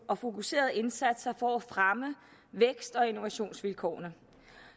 og fokuserede indsatser for at fremme vækst og innovationsvilkårene